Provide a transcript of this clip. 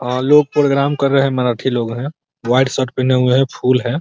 लोग प्रोग्राम कर रहे है । मराठी लोग है । व्हाइट शर्ट पहने हुए हैं । फुल है ।